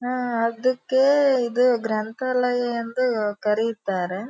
ಆಹ್ಹ್ ಅದಕ್ ಇದು ಗ್ರಂಥಾಲಯ ಎಂದು ಕರೆಯುತ್ತಾರೆ.